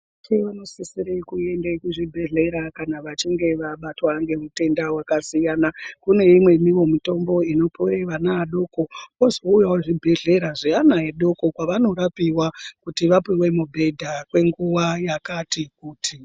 Varwere vanosisire kuende kuzvibhedhlera kana vachinge wabatwa ngemutenda wakasiyana, kune imweniwo mitombo inopuwe vana vadoko, kwozouyawo zvibhedhleya zvevana vadoko zvevanorapiwa vachinge vapuwa mubhedha kwenguwa yakati kuti.